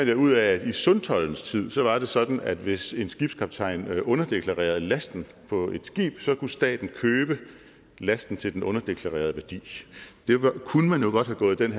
jeg ud af at i sundtoldens tid var det sådan at hvis en skibskaptajn underdeklarerede lasten på et skib kunne staten købe lasten til den underdeklarerede værdi man kunne jo godt have gået den